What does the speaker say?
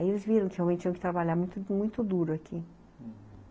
Aí eles viram que realmente tinham que trabalhar muito, muito duro aqui.